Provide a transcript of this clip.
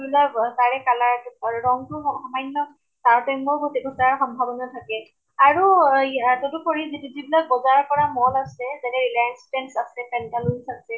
তাৰে color টো ৰং টো সামান্য় তাৰ্তৈম্য় ঘ্টি ঘটাৰ সম্ভাৱনা থাকে। আৰু এই তদুপৰি যিত যিবিলাক বজাৰ কৰা mall আছে, যেনে reliance trends আছে, pantaloons আছে